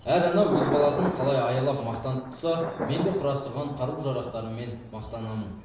әр ана өз баласын қалай аялап мақтан тұтса мен де құрастырған қару жарақтарыммен мақтанамын